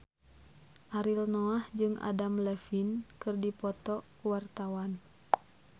Ariel Noah jeung Adam Levine keur dipoto ku wartawan